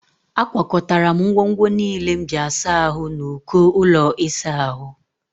Akwakọtara m ngwongwo niile m ji asa ahụ n'uko ụlọ ịsa ahụ